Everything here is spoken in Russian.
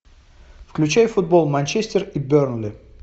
включай футбол манчестер и бернли